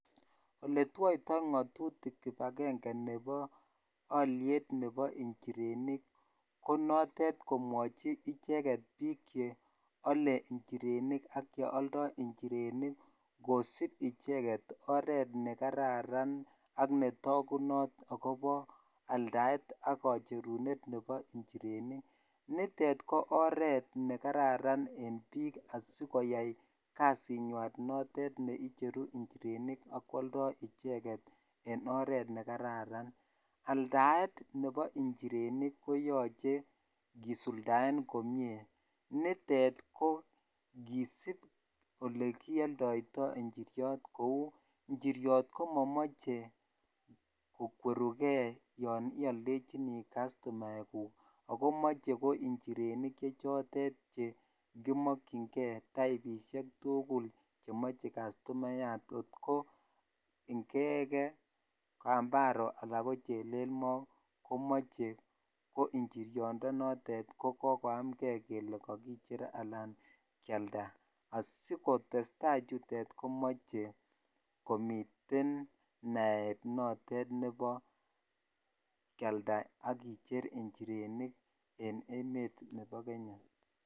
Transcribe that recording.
Oletwaitoi ngatutik kibagenge Nebo Aliet Nebo injirenik konotet icheket bik cheyale injirenik ak cheyoldo injirenik kosib icheket oret nekararan ak netakunot ak akobo aldaet akacherunet Nebo injirenik nitet KO oret nekararan en bik sikoyai kasinywan notet neicheru injirenik akwaldo icheket en oret nekararan aldaet Nebo injirenik koyache kesuldaen komie nitet KO kesibbolekiyoldoito injiriot Kou ak injiriot komamache kokwerugei yanialdechini kastomaek gug akomache ko injirenik chotet Che komakingei kasishek tugul chemache kastomayat ko Inge, kambaro anan ko chelel Mo komache injirenik kokoamgei kele akicher anan kialda asikotestai chutet komache komiten naet notet Nebo kialda akicher inchirenik en emet nebo kenya